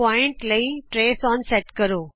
ਬਿੰਦੂ ਲਈ trace on set ਕਰੋ